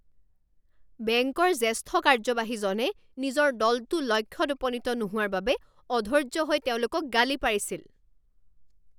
বেংকৰ জ্যেষ্ঠ কাৰ্যবাহীজনে নিজৰ দলটো লক্ষ্যত উপনীত নোহোৱাৰ বাবে অধৈৰ্য হৈ তেওঁলোকক গালি পাৰিছিল।